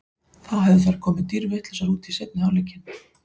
Þá hefðu þær komið dýrvitlausar út í seinni hálfleikinn.